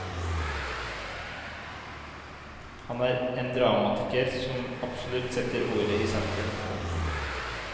Han er en dramatiker som absolutt setter ordet i sentrum. punktum